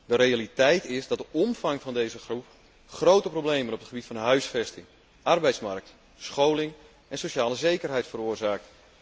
De realiteit is dat de omvang van deze groep grote problemen op het gebied van huisvesting, arbeidsmarkt, scholing en sociale zekerheid veroorzaakt.